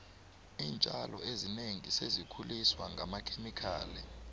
iintjalo ezinengi sezikhuliswa ngamakhemikhali